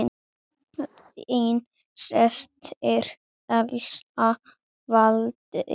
Þín systir, Elsa Valdís.